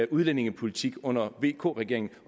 udlændingepolitik under vk regeringen